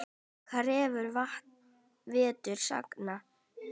Krefur vetur sagna.